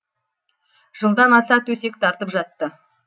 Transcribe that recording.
жылдан аса төсек тартып жатты